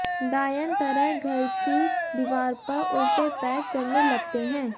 डायन तरह घर की दीवार पर उल्टे पैर चढ़ने लगते हैं